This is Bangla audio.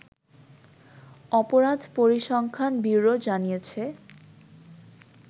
অপরাধ পরিসংখ্যান ব্যুরো জানিয়েছে